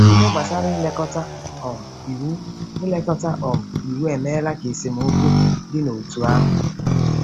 Ihe gbasara ilekọta um Iwu ilekọta um Iwu emeela ka esemokwu dị n’òtù ahụ.